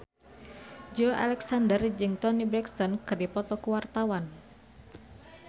Joey Alexander jeung Toni Brexton keur dipoto ku wartawan